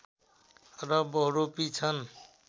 र बहुरूपी छन्